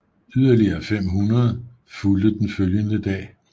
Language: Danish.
Yderligere 500 fulgte den følgende dag